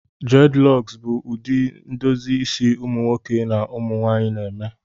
Dreadilocks bụ ụdị edozi isi ụmụ nwoke na ụmụ nwanyị na eme